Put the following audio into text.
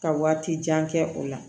Ka waati jan kɛ o la